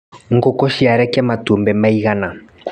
Ngũkũ ciarekia matumbĩ maigana.